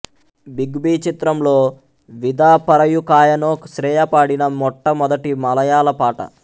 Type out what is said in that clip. big B చిత్రంలో విదా పరయుకాయనో శ్రేయ పాడిన మొట్ట మొదటి మలయాళ పాట